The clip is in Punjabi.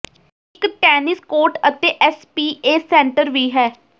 ਇਕ ਟੈਨਿਸ ਕੋਰਟ ਅਤੇ ਐੱਸ ਪੀ ਏ ਸੈਂਟਰ ਵੀ ਹੈ